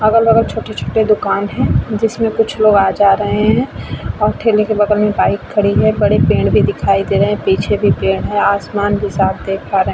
अलग-बगल छोटे-छोटे दुकान है जिसमे कुछ लोग आ जा रहे है और ठेले के बगल मे बाइक खड़ी है बड़े पेड़ भी दिखाई दे रहे है पीछे भी पेड़ है आसमान भी साफ देख पा रहे --